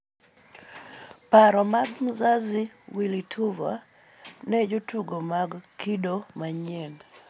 Paro mag 'Mzazi' Willy Tuva ne jotugo mag kido manyien